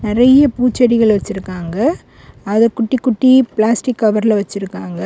நிறைய பூச்செடிகள் வச்சிருக்காங்க அதை குட்டி குட்டி பிளாஸ்டிக் கவர்ல வெச்சிருக்காங்க.